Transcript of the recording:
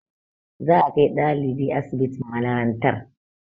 Za a kai ɗalibin asibitin malarantar